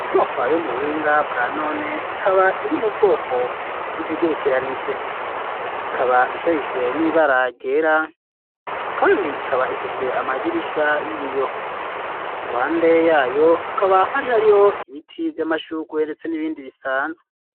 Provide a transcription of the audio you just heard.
Inyubakwa yo mu buhinga bwa none ikaba iri mu bwoko bw'izigerekeranije ikaba isharijwe n'ibara ryera kandi ikaba ifise amadirisha y'ibiyo iruhande yayo hakaba hari hariho ibiti vy'amashurwe ndetse n'ibindi bisanzwe.